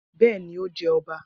Bẹẹni, o jẹ ọba.